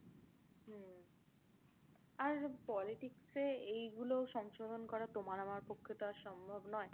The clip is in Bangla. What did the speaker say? হম আর politics এ এইগুলো সংশোধন করা তোমার আমার পক্ষে তো আর সম্ভব নয়।